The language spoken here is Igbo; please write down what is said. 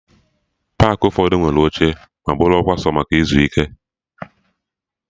Paakị ụfọdụ nwere oche ma bụrụkwa sọ maka ịzụ ike